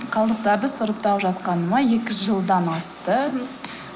қалдықтарды сұрыптап жатқаныма екі жылдан асты